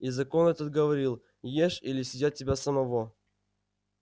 и закон этот говорил ешь или съедят тебя самого